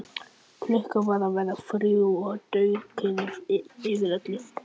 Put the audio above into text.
Klukkan var að verða þrjú og dauðakyrrð yfir öllu.